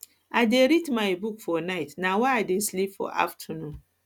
i dey read my book book for night na why i dey sleep for afternoon